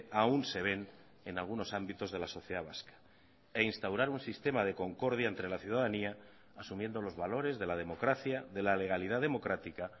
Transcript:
aún se ven en algunos ámbitos de la sociedad vasca e instaurar un sistema de concordia entre la ciudadanía asumiendo los valores de la democracia de la legalidad democrática